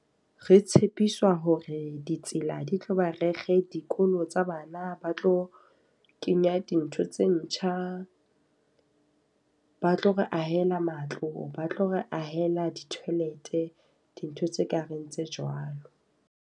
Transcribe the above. Re tshepiswa hore ditsela di tlo ba rekge, dikolo tsa bana ba tlo kenya dintho tse ntjha. Ba tlo re ahela matlo, ba tlo re ahela di-toilet, dintho tse kareng tse jwalo.